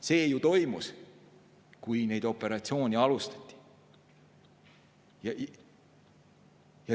See ju toimus, kui neid operatsioone alustati.